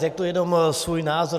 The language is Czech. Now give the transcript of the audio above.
Řeknu jenom svůj názor.